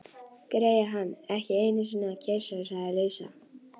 Greyið, kann ekki einusinni að kyssa, sagði Lísa.